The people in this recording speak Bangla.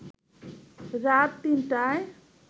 রাত ৩টায়